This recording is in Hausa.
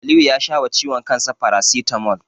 Aliyu ya sha wa ciwon kansa farasitamol.